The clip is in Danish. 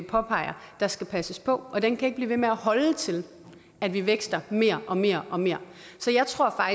påpeger der skal passes på og den kan ikke blive ved med at holde til at vi vækster mere og mere og mere så jeg tror